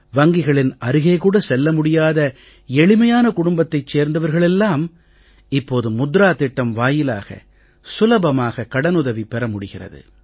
வங்கிகளின் அருகே கூட செல்ல முடியாத எளிமையான குடும்பத்தைச் சேர்ந்தவர்கள் எல்லாம் இப்போது முத்ரா திட்டம் வாயிலாக சுலபமாக கடனுதவி பெற முடிகிறது